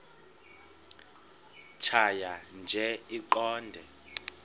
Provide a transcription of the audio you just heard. tjhaya nje iqondee